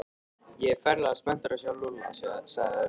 Ég er ferlega spenntur að sjá Lúlla sagði Örn.